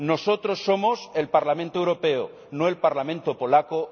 Nosotros somos el Parlamento Europeo, no el Parlamento polaco.